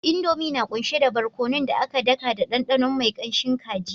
Indomie na kunshe da barkonon da aka daka da ɗanɗano mai kanshin kaji